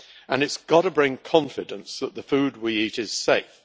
And it has got to bring confidence that the food we eat is safe.